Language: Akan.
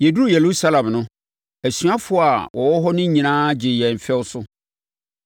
Yɛduruu Yerusalem no, asuafoɔ a wɔwɔ hɔ no nyinaa gyee yɛn fɛw so.